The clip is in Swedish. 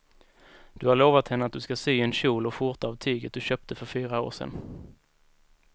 Du har lovat henne att du ska sy en kjol och skjorta av tyget du köpte för fyra år sedan.